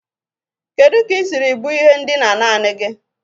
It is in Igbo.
Kedu ka ị siri bu ihe ndina naanị gị?